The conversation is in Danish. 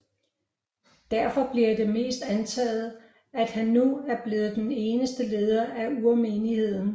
Derfor bliver det antaget at han nu er blevet den eneste leder af urmenigheden